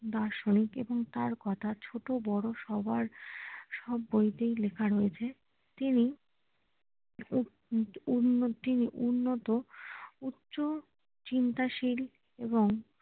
দার্শনিক এবং তার কথা ছোট বড় সবার সব গল্পেই লেখা রয়েছে তিনি আহ উন উন্নতি উন্নত উচ্চ চিন্তাশীল এবং